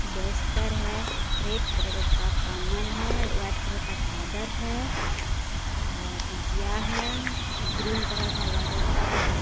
बेस्तर है red colour का कंबल है वाईट कलर का चादर है और गिया हैं ग्रीन कलर का व्हाइट व्हाइट कलर का --